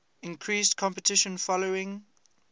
increased competition following